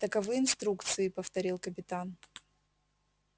таковы инструкции повторил капитан